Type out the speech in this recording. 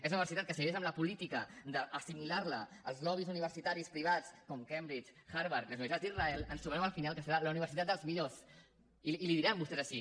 és una universitat que si segueix en la política d’assimilar la als lobbys universitaris privats com cambridge harvard i les universitats d’israel ens trobarem al final que serà la universitat dels millors i en diran vostès així